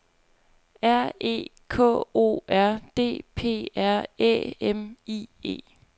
R E K O R D P R Æ M I E